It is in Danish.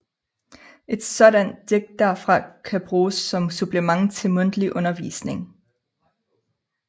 Et sådant digt derfor kan bruges som supplement til mundtlig undervisning